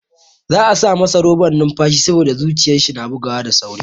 Za'a sa masa roban numfashi saboda zuciyar shi na bugawa da sauri.